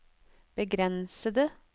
begrensede